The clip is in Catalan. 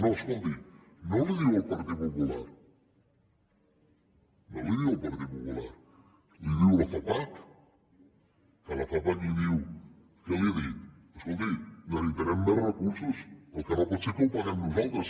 no escolti no li ho diu el partit popular no li ho diu el partit popular li ho diu la fapac que la fapac li diu què li ha dit escolti necessitarem més recursos el que no pot ser és que ho paguem nosaltres